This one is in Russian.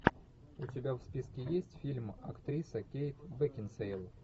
у тебя в списке есть фильм актриса кейт бекинсейл